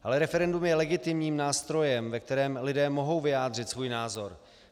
Ale referendum je legitimním nástrojem, ve kterém lidé mohou vyjádřit svůj názor.